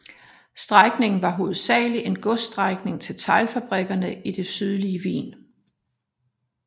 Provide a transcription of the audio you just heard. Strækningen var hovedsagelig en godsstrækning til teglfabrikkerne i det sydlige Wien